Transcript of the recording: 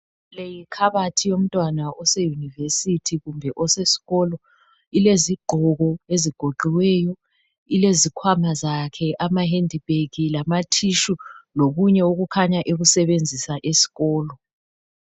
Leyi yikhabothi yomntwana ose University kumbe osesikolo. Ilezigqoko ezigoqiweyo ilezikhwama zakhe, amahandbag lama tissue lokunye okukhanya ekusebenzisa yesikolo.